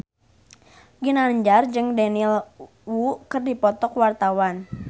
Ginanjar jeung Daniel Wu keur dipoto ku wartawan